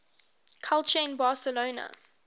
culture in barcelona